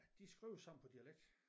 De skriver sammen på dialekt